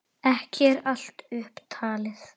Ekki er allt upp talið.